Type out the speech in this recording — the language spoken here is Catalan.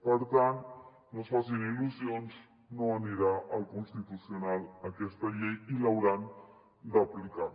per tant no es facin il·lusions no anirà al constitucional aquesta llei i l’hauran d’aplicar